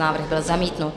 Návrh byl zamítnut.